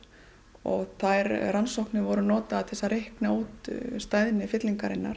og þær rannsóknir voru notaðar til að reikna út